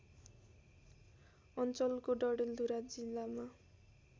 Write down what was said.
अञ्चलको डडेलधुरा जिल्लामा